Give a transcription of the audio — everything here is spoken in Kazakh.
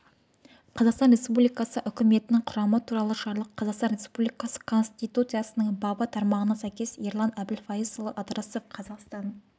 қазақстан республикасы үкіметінің құрамы туралы жарлық қазақстан республикасы конституциясының бабы тармағына сәйкес ерлан әбілфайызұлы ыдырысов қазақстан